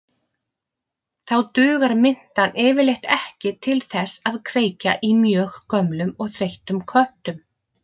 Þá dugar mintan yfirleitt ekki til þess að kveikja í mjög gömlum og þreyttum köttum.